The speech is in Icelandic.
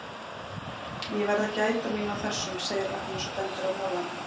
Ég verð að gæta mín á þessum, segir Agnes og bendir á molana.